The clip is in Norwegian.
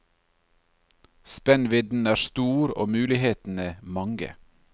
Spennvidden er stor og mulighetene mange.